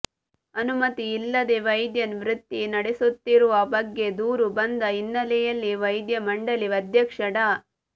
ಅನುಮತಿ ಇಲ್ಲದೆ ವೈದ್ಯ ವೃತ್ತಿ ನಡೆಸುತ್ತಿರುವ ಬಗ್ಗೆ ದೂರು ಬಂದ ಹಿನ್ನೆಲೆಯಲ್ಲಿ ವೈದ್ಯ ಮಂಡಳಿ ಅಧ್ಯಕ್ಷ ಡಾ